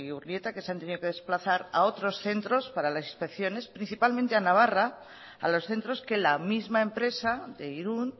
urnieta que se han tenido que desplazar a otros centros para las inspecciones principalmente a navarra a los centros que la misma empresa de irún